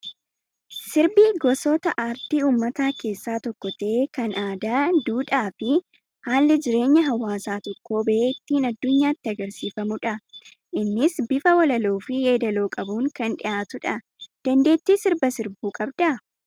Sirbi gosoota aartii uummataa keessaa tokko ta'ee kan aadaa, duudhaa fi haalli jireenya hawaasa tokkoo bahee ittiin addunyaatti agarsiifamudha. Innis bifa walaloo fi yeedaloo qabuun kan dhiyaatudha. Dandeettii sirba sirbuu qabdaa?